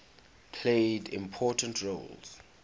played important roles